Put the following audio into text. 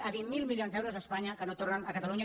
a vint miler milions d’euros a espanya que no tornen a catalunya